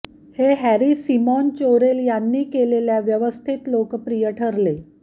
हे Harry Simon Chorel यांनी केलेल्या व्यवस्थेत लोकप्रिय ठरले